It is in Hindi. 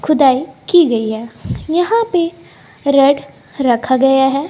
खुदाई की गई है यहां पे रेड रखा गया है।